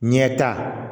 Ɲɛta